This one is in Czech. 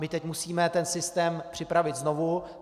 My teď musíme ten systém připravit znovu.